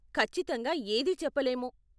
ఖచ్చితంగా ఏదీ చెప్పలేము.